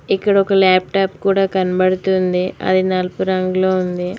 ఇక్కడ ఒక లాప్టాప్ కూడ కాన్బడ్తుంది అది నలుపు రంగులో ఉంది.